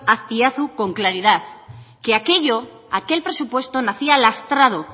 azpiazu con claridad que aquello que aquel presupuesto nacía lastrado